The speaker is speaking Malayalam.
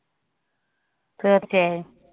തീർച്ചയായും.